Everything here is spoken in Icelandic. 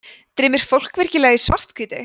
dreymir fólk virkilega í svarthvítu